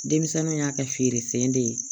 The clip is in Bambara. Denmisɛnninw y'a kɛ feere sen de ye